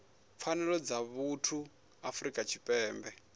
pfanelo dza vhuthu ya afrika tshipembe